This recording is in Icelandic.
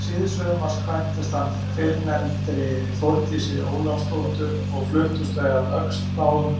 Síðsumars kvæntist hann fyrrnefndri Þórdísi Ólafsdóttur og fluttust þau að Öxl þá um